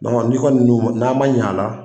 N'i kɔni n'a ma ɲɛ a la